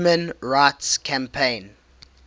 human rights campaign